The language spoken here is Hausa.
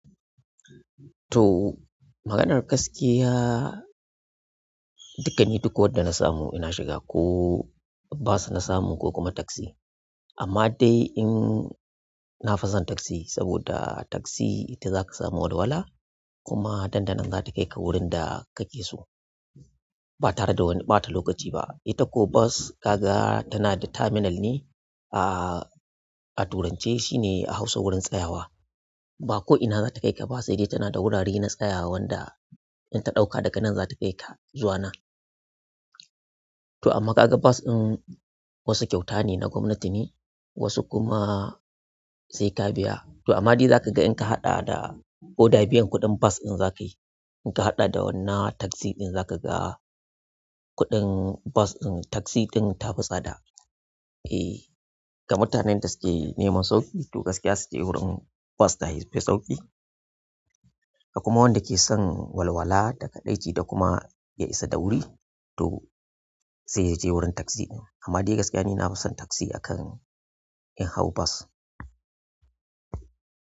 To, maganar gaskiya, dukani duk wadda na samu ina shiga ko bas na samu ko kuma taksi. Amma dai in na fi son taksi saboda taksi ita zaka samu walwala kuma dandanan zata kai ka wurin da kake so ba tare da wani ɓata lokaci ba. Ita ko bus kaga tanada taminal ne a, a turance shine a hausa wurin tsayawa ba ko ina zata kai ka ba sai dai tana da wurare na tsayawa wanda in ta ɗauka daga nan zata kai ka zuwanan. To amma kaga bas in wasu kyauta ne na gwamnati ne wasu kuma sai ka biya. To amma dai zaka ga in ka haɗa da koda biyan kuɗin bus in zaka yi. In ka haɗa da wannan taksi in zaka ga kuɗin bus in taksi ɗin ta fi sada. Eh, ga mutanen da suke neman sauƙi to gaskiya su je wurin bus ta yafi sauƙi. Kuma wanda ke son walwala daga dakaɗaici da kuma ya isa da wuri to sai je wurin taksi ɗin. Amma dai gaskiya ni nafi son taksi akan in hau bus.